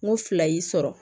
N ko fila y'i sɔrɔ